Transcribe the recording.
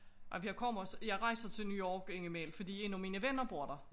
Ej jeg kommer også jeg rejser til New York indimellem fordi en af mine venner bor der